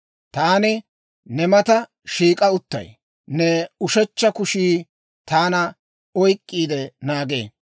Taani ne mata shiik'a uttay; ne ushechcha kushii taana oyk'k'iide naagee.